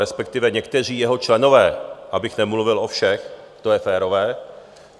Respektive někteří jeho členové, abych nemluvil o všech, to je férové.